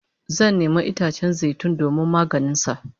Zan nemi itacen zai tun domin maganin sa